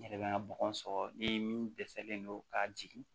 N yɛrɛ bɛ n ka bɔgɔ sɔrɔ ni min dɛsɛlen don ka jigin